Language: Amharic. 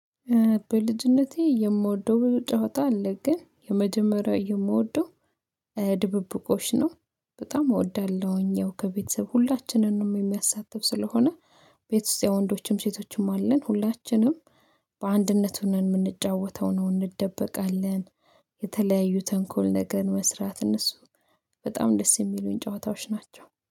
በልጅነቴ የምወደው ጨዋታ አለ። ግን የመጀመሪያው የምወደው ድብብቆሽ በጣም እወዳለሁኝ። ያው ከቤተሰብ ሁላችንም የሚያሳትፍ ስለሆነ። ቤት ውስጥ ያው ወንዶችም ሴቶችም አለን ሁላችንም በአንድነቱ ሆነን የምንጫወተው ነው። እንደበቃለን የተለያዩ ተንኮል ነገር መስራት እነሱ በጣም ደስ የሚሉኝ ጨዋታዎች ናቸው